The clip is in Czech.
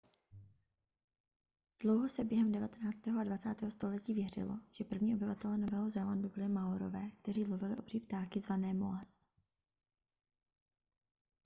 dlouho se během devatenáctého a dvacátého století věřilo že první obyvatelé nového zélandu byli maorové kteří lovili obří ptáky zvané moas